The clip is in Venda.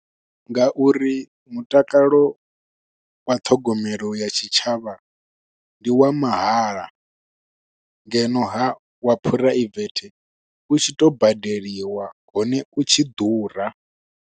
Nga uri mutakalo wa ṱhogomelo ya tshitshavha ndi wa mahala, ngeno ha wa phuraivethe u tshi to badeliwa, hone u tshi ḓura.